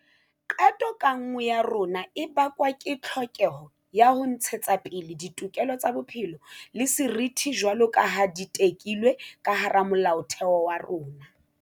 Qeto ka nngwe ya rona e bakwa ke tlhokeho ya ho ntshetsapele ditokelo tsa bophelo le seriti jwaloka ha di tekilwe ka hara Molaotheo wa rona.